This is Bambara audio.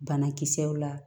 Banakisɛw la